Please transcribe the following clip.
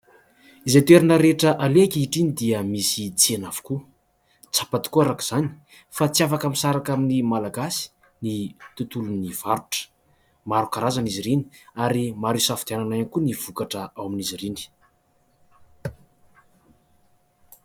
Izay toerana rehetra aleha ankehitriny dia misy tsena avokoa, tsapa tokoa araka izany fa tsy afaka misaraka amin'ny Malagasy ny tontolon'ny varotra, maro karazany izy ireny ary maro isafidianana tokoa ny vokatra ao amin'izy ireny.